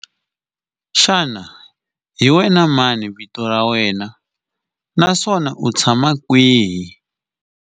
Xana hi wena mani vito ra wena naswona u tshama kwihi?